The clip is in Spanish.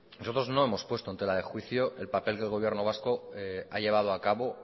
nosotros no hemos puesto en tela de juicio el papel del gobierno vasco ha llevado a cabo